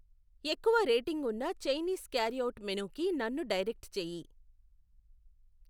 ఎక్కువ రేటింగ్ ఉన్న Chinese carryout మెనుకి నన్ను డైరెక్ట్ చెయ్యి.